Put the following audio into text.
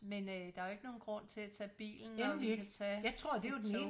Men øh der er jo ikke nogen grund til at tage bilen når du kan tage et tog